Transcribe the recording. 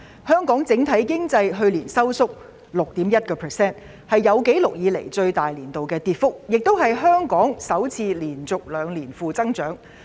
香港整體經濟去年收縮 6.1%， 是有紀錄以來最大的年度跌幅，也是香港首次連續兩年出現經濟負增長。